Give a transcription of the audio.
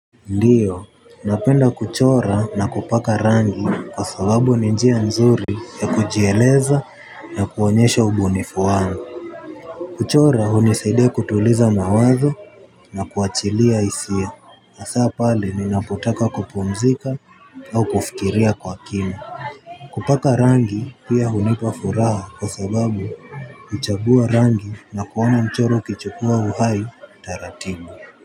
Ndiyo, napenda kuchora na kupaka rangi kwa sababu ni njia nzuri ya kujieleza na kuonyesha ubunifu wangu. Kuchora hunisaidia kutuliza mawazo na kuachilia hisia hasa pale ninapotaka kupumzika au kufikiria kwa kina. Kupaka rangi pia hunipa furaha kwa sababu huchagua rangi na kuona mchoro ukichukua uhai taratibu.